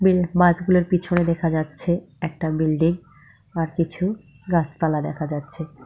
উ বাসগুলোর পিছনে দেখা যাচ্ছে একটা বিল্ডিং আর কিছু গাছপালা দেখা যাচ্ছে।